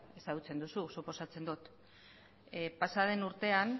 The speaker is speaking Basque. ezagutzen duzu suposatzen dot pasaden urtean